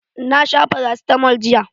Na sha farasitamol jiya.